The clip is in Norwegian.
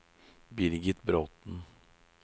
Birgit Bråthen